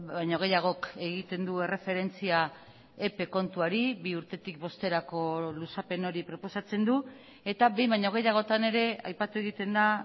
baino gehiagok egiten du erreferentzia epe kontuari bi urtetik bosterako luzapen hori proposatzen du eta behin baino gehiagotan ere aipatu egiten da